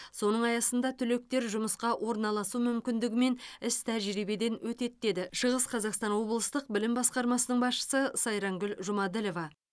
соның аясында түлектер жұмысқа орналасу мүмкіндігімен іс тәжірибеден өтеді деді шығыс қазақстан облыстық білім басқармасының басшысы сайрангүл жұмаділова